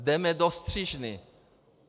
Jdeme do střižny.